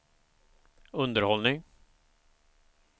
underhållning